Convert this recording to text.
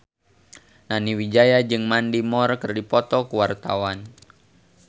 Nani Wijaya jeung Mandy Moore keur dipoto ku wartawan